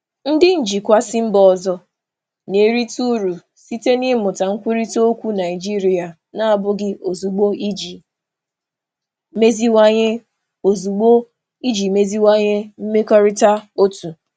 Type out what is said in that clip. Ndị njikwa si mba ọzọ na-erite uru site n'ịmụta nkwurịta okwu Naịjirịa na-abụghị ozugbo iji meziwanye mmekọrịta otu.